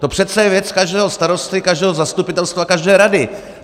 To je přece věc každého starosty, každého zastupitelstva, každé rady.